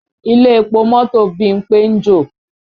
Ilé epo mọ́tò Bímpé ń jò